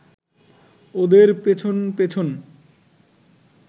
ওদের পেছন পেছন